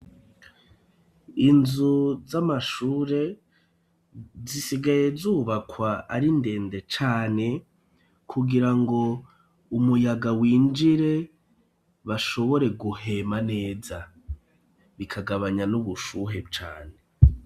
Inzu z'amashure zisigaye zubakwa ari ndende cane kugira ngo umuyaga winjire bashobore guhema neza bikagabanya n'ubushuhe cane.